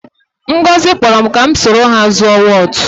Ngozi kpọrọ ka m soro ha zuọ wọtụ.